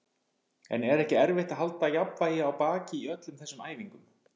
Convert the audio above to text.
En er ekki erfitt að halda jafnvægi á baki í öllum þessum æfingum?